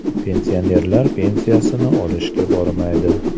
Pensionerlar pensiyasini olishga bormaydi.